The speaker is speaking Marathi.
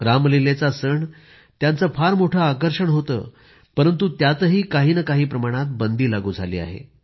रामलीलेचा सण त्याचं फार मोठं आकर्षण होतं परंतु त्यातही काही नं काही प्रमाणात बंदी लागू झाली आहे